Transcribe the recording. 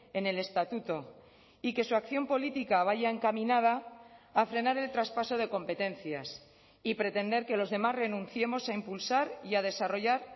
en el estatuto y que su acción política vaya encaminada a frenar el traspaso de competencias y pretender que los demás renunciemos a impulsar y a desarrollar